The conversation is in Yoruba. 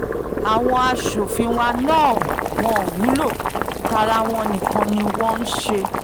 àwọn aṣòfin wa náà ò wúlò tara wọn nìkan ni wọ́n ń ń ṣe